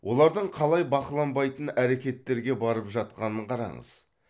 олардың қалай бақыланбайтын әрекеттерге барып жатқанын қараңыз